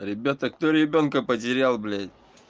ребята кто ребёнка потерял блять